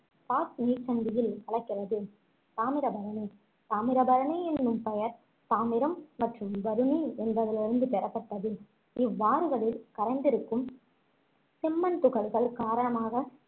பாக் நீர்ச்சந்தியில் கலக்கிறது தாமிரபரணி தாமிரபரணி எனும் பெயர் தாமிரம் மற்றும் வருணி என்பதிலிருந்து பெறப்பட்டது இவ்வாறுகளில் கரைந்திருக்கும் செம்மண் துகள்கள் காரணமாக